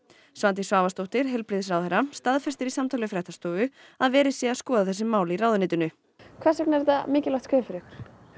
Svandís Svavarsdóttir heilbrigðisráðherra staðfestir í samtali við fréttastofu að verið sé að skoða þessi mál í ráðuneytinu hvers vegna er þetta mikilvægt skref fyrir ykkur